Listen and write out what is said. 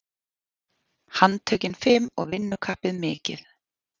Handtökin fim og vinnukappið mikið.